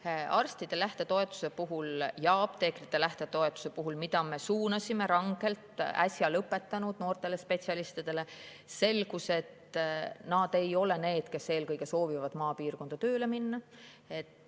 Kui me arstide lähtetoetuse ja apteekrite lähtetoetuse rangelt suunasime äsja lõpetanud noortele spetsialistidele, siis selgus, et nemad ei ole need, kes soovivad eelkõige maapiirkonda tööle minna.